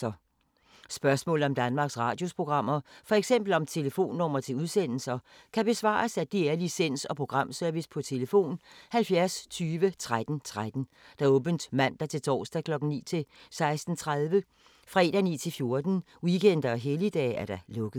Spørgsmål om Danmarks Radios programmer, f.eks. om telefonnumre til udsendelser, kan besvares af DR Licens- og Programservice: tlf. 70 20 13 13, åbent mandag-torsdag 9.00-16.30, fredag 9.00-14.00, weekender og helligdage: lukket.